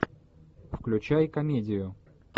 включай комедию